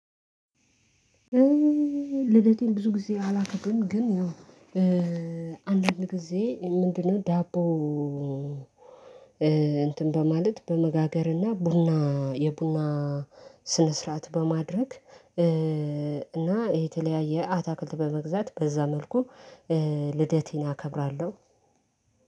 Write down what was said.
ልደቴን ብዙ ጊዜ አላከብርም። ግን አንዳንድ ጊዜ ምንድነው? ዳቦ። እንትን በማለት በመጋገርና ቡና የቡና ስነ ስርዓት በማድረግ እና የተለያየ አታክልት በመግዛት በዛ መልኩ። ልደቴን አከብራለሁ።